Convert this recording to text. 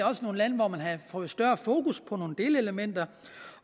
også nogle lande hvor man havde fået større fokus på nogle delelementer